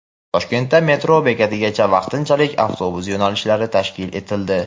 Toshkentda metro bekatigacha vaqtinchalik avtobus yo‘nalishlari tashkil etildi.